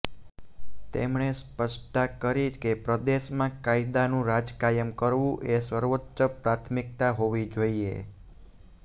તેમણે સ્પષ્ટતા કરી કે પ્રદેશમાં કાયદાનુ રાજ કાયમ કરવું એ સર્વોચ્ચ પ્રાથમિકતા હોવી જોઈએ